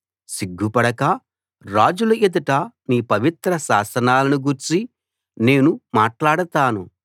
సిగ్గుపడక రాజుల ఎదుట నీ పవిత్ర శాసనాలను గూర్చి నేను మాట్లాడతాను